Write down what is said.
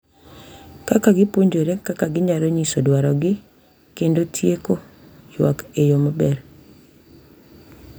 Kaka gipuonjore kaka ginyalo nyiso dwarogi kendo tieko ywak e yo maber.